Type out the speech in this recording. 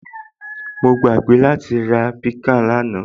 Mo gbàgbé láti ra piccan lánàá